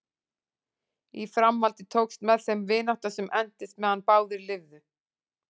Í framhaldi tókst með þeim vinátta sem entist meðan báðir lifðu.